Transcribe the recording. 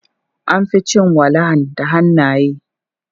An fi cin walahan da hannaye.